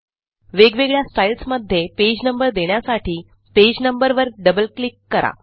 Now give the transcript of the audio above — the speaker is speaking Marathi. वेगवेगळ्या स्टाईल्स मध्ये पेज नंबर देण्यासाठी पेज नंबर वर डबल क्लिक करा